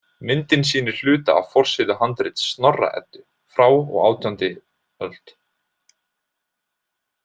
Myndin sýnir hluta af forsíðu handrits Snorra-Eddu frá og átjándi öld.